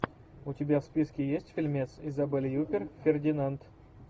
у тебя в списке есть фильмец изабель юппер фердинанд